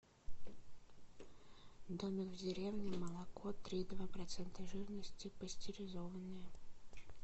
домик в деревне молоко три и два процента жирности пастеризованное